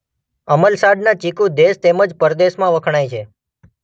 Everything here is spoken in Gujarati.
અમલસાડનાં ચીકુ દેશ તેમ જ પરદેશમાં વખણાય છે.